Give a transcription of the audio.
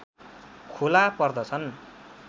खोला पर्दछन्